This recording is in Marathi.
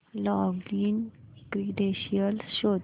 लॉगिन क्रीडेंशीयल्स शोध